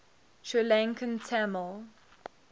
sri lankan tamil